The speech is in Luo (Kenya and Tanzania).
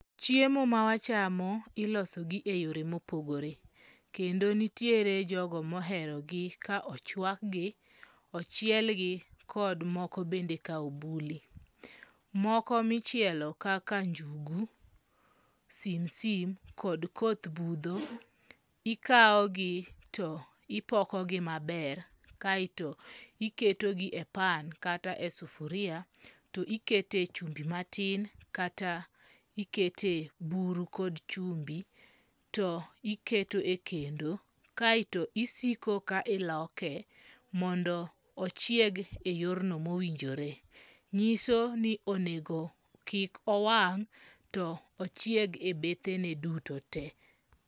Chiemo ma wachamo ilosogi e yore mopogore kendo nitiere jogo mohero gi ka ochwak gi, ochielgi kod moko bende ka obuli . Moko michielo kaka njugu, simsim kod koth budho ikao gi to ipoko gi maber kai to iketo gi e pan kata e sufuria to ikete chumbi matin kata ikete buru kod chumbi to iketo e kendo kaeto isiko ka iloke, mondo ochieg oyor no mowinjore nyiso ni onego kik owang' to ochieg e bethe ne duto te.